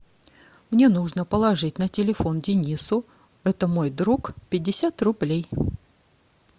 мне нужно положить на телефон денису это мой друг пятьдесят рублей